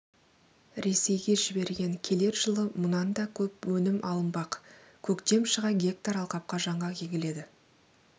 ресейге жіберген келер жылы мұнан да көп өнім алынбақ көктем шыға гектар алқапқа жаңғақ егіледі